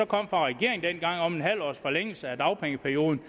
kom fra regeringen dengang om et halvt års forlængelse af dagpengeperioden